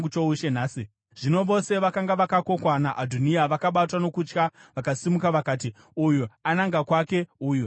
Zvino vose vakanga vakokwa naAdhoniya vakabatwa nokutya vakasimuka vakati uyu ananga kwake, uyu ananga kwake.